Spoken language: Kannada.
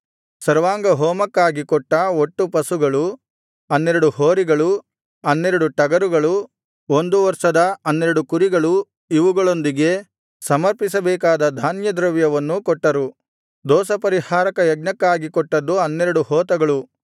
ಸರ್ವಾಂಗಹೋಮಕ್ಕಾಗಿ ಕೊಟ್ಟ ಒಟ್ಟು ಪಶುಗಳು 12 ಹೋರಿಗಳು 12 ಟಗರುಗಳು ಒಂದು ವರ್ಷದ 12 ಕುರಿಗಳು ಇವುಗಳೊಂದಿಗೆ ಸಮರ್ಪಿಸಬೇಕಾದ ಧಾನ್ಯದ್ರವ್ಯವನ್ನೂ ಕೊಟ್ಟರು ದೋಷಪರಿಹಾರಕ ಯಜ್ಞಕ್ಕಾಗಿ ಕೊಟ್ಟದ್ದು 12 ಹೋತಗಳು